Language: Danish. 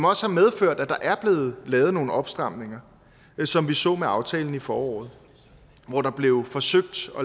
også medført at der er blevet lavet nogle opstramninger som vi så med aftalen i foråret hvor der blev forsøgt